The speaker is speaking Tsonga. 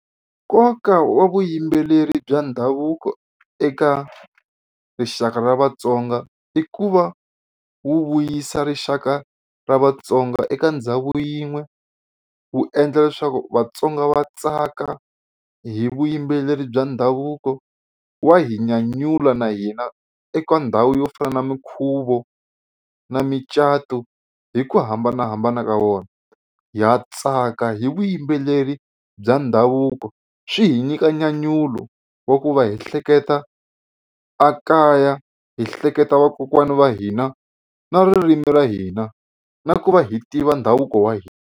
Nkoka wa vuyimbeleri bya ndhavuko eka rixaka ra Vatsonga i ku va wu vuyisa rixaka ra Vatsonga eka ndhawu yin'we wu endla leswaku Vatsonga va tsaka hi vuyimbeleri bya ndhavuko wa hi nyanyula na hina eka ndhawu yo fana na minkhuvo na micato hi ku hambanahambana ka wona. Ha tsaka hi vuyimbeleri bya ndhavuko swi hi nyika nyanyulo wa ku va hi hleketa a kaya hi hleketa vakokwani va hina na ririmi ra hina na ku va hi tiva ndhavuko wa hina.